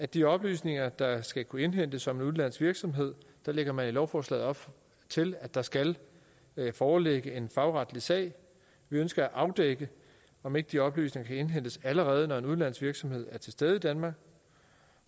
de oplysninger der skal kunne indhentes om en udenlandsk virksomhed lægger man i lovforslaget op til at der skal foreligge en fagretlig sag vi ønsker at afdække om ikke de oplysninger kan indhentes allerede når en udenlandsk virksomhed er til stede i danmark